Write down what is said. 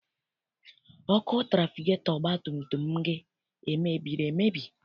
Ọkụ trafigetọ ọgbatumtum gị emebiri emebi?